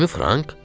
20 frank?